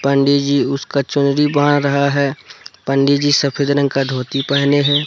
पंडी जी उसका चुनरी बांध रहा है पंडी जी सफेद रंग का धोती पहने हैं।